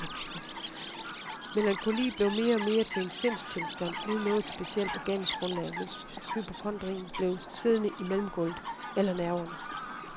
Melankoli blev mere og mere til en sindstilstand uden noget specielt organisk grundlag, mens hypokondrien blev siddende i mellemgulvet eller nerverne.